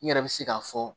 N yɛrɛ bɛ se k'a fɔ